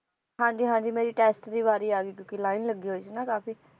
ਹਾਂਜੀ ਹਾਂਜੀ ਮੇਰੀ test ਦੀ ਵਾਰੀ ਆ ਗਈ, ਕਿਉਕਿ line ਲੱਗੀ ਹੋਈ ਸੀ ਨਾ ਕਾਫੀ